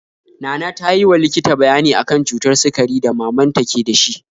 Nana tayi wa likita bayani akan cutar sikari da mamanta ke dashi